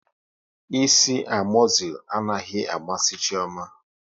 Ịsị amozil anaghị amasị Chioma